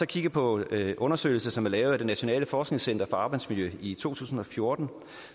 kigger på en undersøgelse som er lavet af det nationale forskningscenter for arbejdsmiljø i to tusind og fjorten